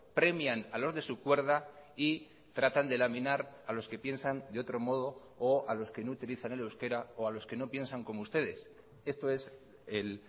premian a los de su cuerda y tratan de laminar a los que piensan de otro modo o a los que no utilizan el euskera o a los que no piensan como ustedes esto es el